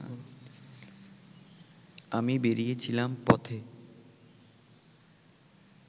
আমি বেরিয়েছিলাম পথে